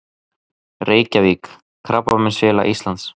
Reykjavík: Krabbameinsfélag Íslands.